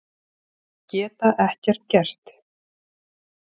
Geta ekkert gert.